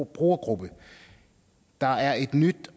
brugergruppe der er et nyt